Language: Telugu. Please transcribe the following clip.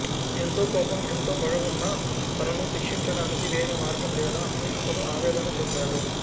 ఎంతో కోపం ఎంతోపగ ఉన్నా తనను శిక్షించడానికి వేరే మార్గం లేదా అని అతడు ఆవేదన చెందాడు